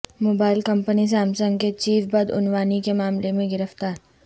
mobile company Samsung کے chief بدعنوانی کے معاملے میں گرفتار